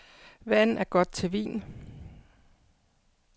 Vand er godt til vin.